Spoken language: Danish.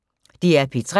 DR P3